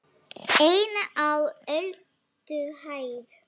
EIN Á ÖLDUHÆÐ